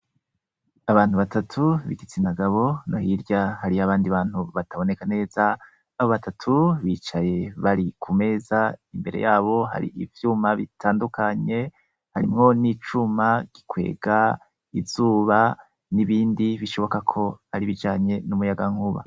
Abantu batatu bigaitsinagabo na hoirya hariyo abandi bantu bataboneka neza abo batatu bicaye bari ku meza imbere yabo hari ivyuma bitandukanye harimwo n'icuma gikwega izuba n'ibindi bishoboka ko ari bijanye n'umuyaga nkuba.